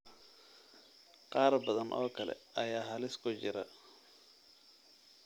Qaar badan oo kale ayaa halis ku jira.